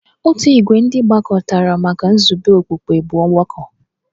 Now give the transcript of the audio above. Otu ìgwè ndị gbakọtara maka nzube okpukpe bụ ọgbakọ.